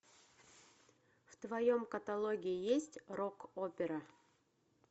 в твоем каталоге есть рок опера